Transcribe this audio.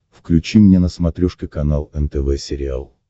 включи мне на смотрешке канал нтв сериал